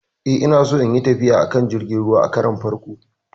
E, Ina so in yi tafiya a kan jirgin ruwa a karon farko.